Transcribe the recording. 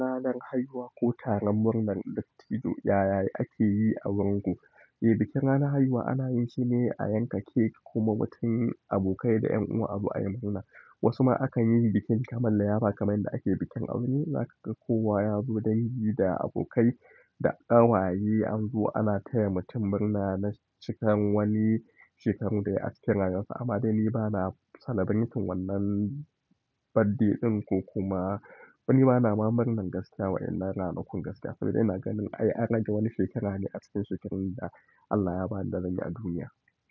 Ranar haihuwa ko taron murnar dattijo, yayayi ake yi a wurinku. Eh, bikin ranar haihuwa ana yin shi ne a yanka cake kuma watan abokai da ƴan uwa su zo ayi murna. Wasu ma akan yi bikin kaman liyapa kaman yadda ake bikin aure, za ka kowa yazo dangi da abokai da ƙawaye an zo ana taya mutum murna na shekarar wani shekarun da yayi a cikin rayuwar sa sa. Amma dai ni bana celebrating wannan birthday ɗin ko kuma ni bana ma murnar gaskiya wa'inan ranakun gaskiya saboda ina ganin ai an rage wani shekara ne acikin shekarun da Allah ya ba ni da zan yi a duniya.